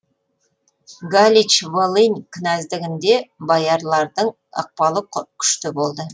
галич волынь кінәздігінде боярлардың ықпалы күшті болды